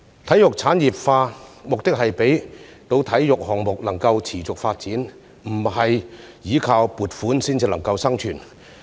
體育事業產業化的目的是讓體育項目能夠持續發展，不用依靠撥款生存。